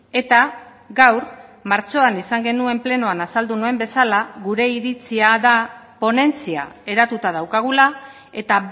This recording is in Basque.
eta gaur martxoan izan genuen plenoan azaldu nuen bezala gure iritzia da ponentzia eratuta daukagula eta